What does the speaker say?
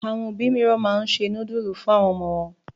Àwọn òbí mìíràn máa ń se núdúlù fún àwọn ọmọ wọn.